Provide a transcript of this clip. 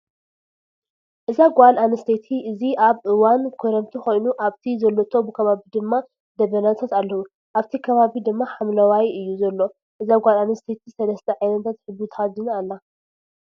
እዛ ጋል ኣነስተይቲ እዚ ኣብ እዋን ክረምቲ ኮይኑ ኣብቲ ዘሎቶ ከባቢ ድመ ደበናታት ኣለው ። ኣብቲ ከባቢ ድማ ሓምለወዋይ እዩ ዘሎ እዛ ጓል ኣነስተይቲ 3ተ ዓይነታት ሕብሪ ተከዲና ኣላ።